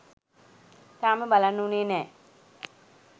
තාම බලන්න වුණේ නෑ.